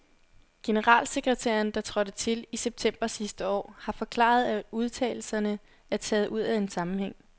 Generalsekretæren, der trådte til i september sidste år, har forklaret, at udtalelserne er taget ud af en sammenhæng.